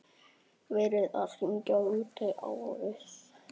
Verið að hringja út árið.